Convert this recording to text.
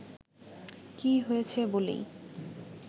কী হয়েছে বলেই